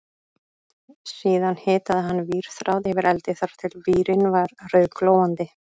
Síðan hitaði hann vírþráð yfir eldi þar til vírinn var rauðglóandi